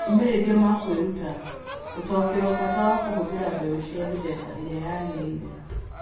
Moimĩrĩro ma kwĩruta: Ũtaũkĩrwo bata wa kũhũthĩra mbeũ cia mĩthemba ĩrĩa yagĩrĩire.